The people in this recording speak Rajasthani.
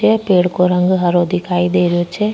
ए पेड़ को रंग हरो दिखाई दे रहियो छे।